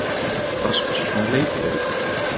Rasmus, hvaða leikir eru í kvöld?